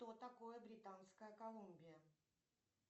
что такое британская колумбия